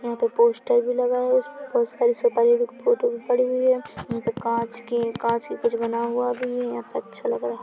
यहाँ पे पोस्टर भी लगा है उस पर बहुत सारी सुपर हीरो फोटो भी पड़ी हुई है यहाँ पे काँच के काँच के कुछ बना हुआ भी है यहाँ पे अच्छा लग रहा।